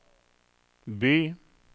by